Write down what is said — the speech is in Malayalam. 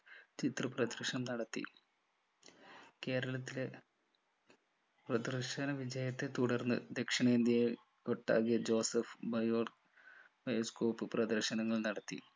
ചിത്രപ്രദർശനം നടത്തി കേരളത്തിലെ പ്രദർശന വിജയത്തെ തുടർന്ന് ദക്ഷിണേന്ത്യയിൽ ഒട്ടാകെ ജോസഫ് bio bioscope പ്രദർശനങ്ങൾ നടത്തി